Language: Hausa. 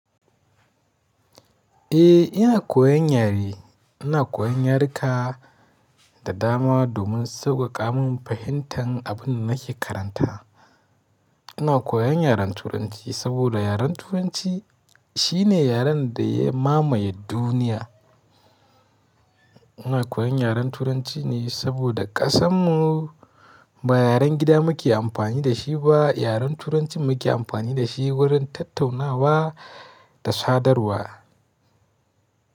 Eh ina koyan yare, ina koyan yaruka da dama domin sauƙaƙa min fahimtar abin da nake karanta. Ina koyan yaren Turanci saboda yaren Turanci shi ne yaren da ya mamaye duniya. Ina koyan yaren Turanci ne saboda ƙasanmu ba yaren gida muke amfani da shi ba, yaren Turancin muke amfani da shi wurin tattaunawa da sadarwa.